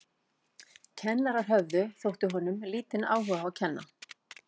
Kennararnir höfðu, þótti honum, lítinn áhuga á að kenna.